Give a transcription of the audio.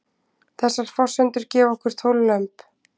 þessar forsendur gefa okkur tólf lömb